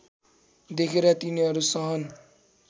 देखेर तिनीहरू सहन